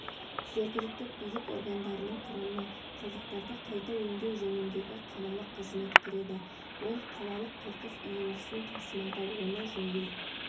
жергілікті билік органдарының құрамына қалдықтарды қайта өңдеу жөніндегі қалалық қызмет кіреді ол қалалық қоқыс үйіндісін тасымалдау оны жою